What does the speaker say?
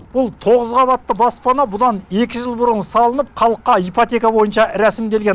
бұл тоғыз қабатты баспана бұдан екі жыл бұрын салынып халыққа ипотека бойынша рәсімделген